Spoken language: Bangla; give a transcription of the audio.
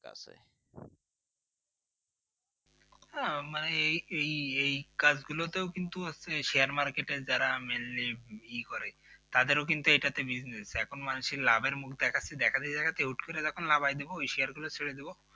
হ্যাঁ মানে এই এই কাজগুলোতেও কিন্তু share market যারা mainly ই করে তাদের কিন্তু এটাতে bussenes এখন মানুষের লাভের মুখ দেখাচ্ছে দেখাতে দেখাতে হুট করে যখন নামায় দেব ওই share গুলো ছাড়াই বিদ